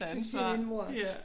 Det siger min mor også